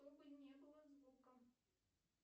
чтобы не было звука